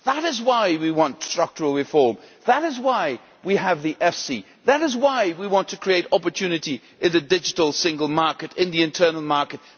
That is why we want structural reform, that is why we have the EFSI, that is why we want to create opportunities in the digital single market and in the internal market.